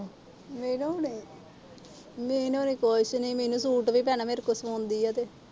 ਮੀਨੂ ਹਰੇ। ਮੀਨੂ ਕੁਛ ਨੀ। ਮੀਨੂੰ ਸੂਟ ਵੀ ਭੈਣਾ ਮੇੇਰੇ ਕੋਲੋ ਸਵਾਉਂਦੀ ਆ।